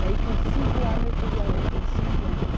Daí com cinco anos eu tive a outra, em cinquenta.